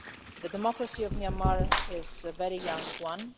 The democracy of Myanmar is a very young one.